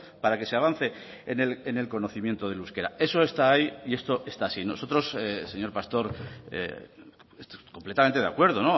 para que se avance en el conocimiento del euskera eso está ahí y esto está así nosotros señor pastor completamente de acuerdo